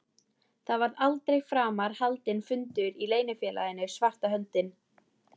Það var aldrei framar haldinn fundur í Leynifélaginu svarta höndin.